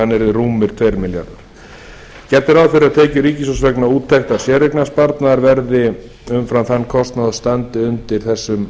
yrði rúmir tveir milljarðar króna gert er ráð fyrir að tekjur ríkissjóðs vegna úttektar séreignarsparnaðar verði umfram þann kostnað og standi undir þessum